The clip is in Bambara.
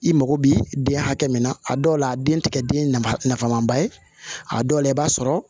I mago bi den hakɛ min na a dɔw la a den ti kɛ den nafama ba ye a dɔw la i b'a sɔrɔ